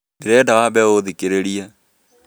Ndĩrenda wambe ũthikĩrĩrie